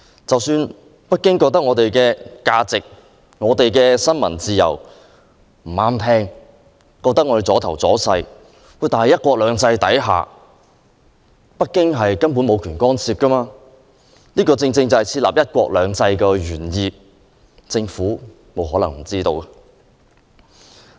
即使北京認為香港的價值及新聞自由逆耳和礙事，但在"一國兩制"下，北京根本無權干涉，這正是實行"一國兩制"的原意，政府不可能不知曉。